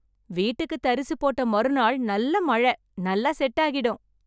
வீட்டுக்கு தரிசு போட்ட மறுநாள் நல்ல மழை, நல்லா செட் ஆகிடும்